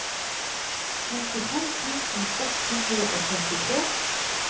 femtifem tusen ett hundre og trettitre